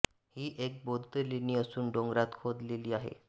ही एक बौद्ध लेणी असून डोंगरात खोदलेली आहे